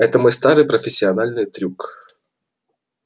это мой старый профессиональный трюк